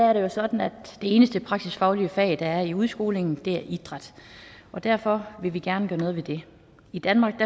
er det jo sådan at det eneste praksisfaglige fag der er i udskolingen er idræt og derfor vil vi gerne gøre noget ved det i danmark